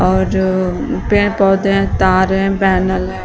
और जो पेड़ पौधें है तार है पैनल है।